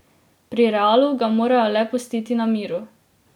Pri Realu ga morajo le pustiti na miru.